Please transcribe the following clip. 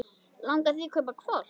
Langar þig að kaupa hvolp?